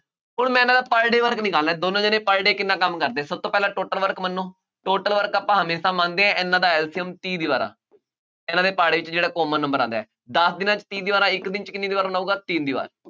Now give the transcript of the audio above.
ਹੁਣ ਮੈਂ ਇਹਨਾ ਦਾ per day work ਨਿਕਾਲਣਾ, ਦੋਨੋਂ ਜਣੇ per day ਕਿੰਨਾ ਕੰਮ ਕਰਦੇ, ਸਭ ਤੋਂ ਪਹਿਲਾਂ total work ਮੰਨੋ, total work ਆਪਾਂ ਹਮੇਸ਼ਾ ਮੰਨਦੇ ਹਾਂ, ਇਹਨਾ ਦਾ LCM ਤੀਹ ਦੀਵਾਰਾਂ, ਇਹਨਾ ਦੇ ਪਹਾੜੇ ਚ ਜਿਹੜਾ common number ਆਉਂਦਾ, ਦੱਸ ਦਿਨਾਂ ਚ ਤੀਹ ਦੀਵਾਰਾ, ਇੱਕ ਦਿਨ ਚ ਕਿੰਨੀ ਦੀਵਾਰ ਬਣਾਊਗਾ, ਤਿੰਨ ਦੀਵਾਰ,